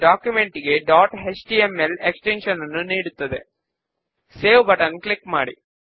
6 వ స్టెప్ లో మనము డేటా ఎంట్రీ ను సెట్ చేస్తాము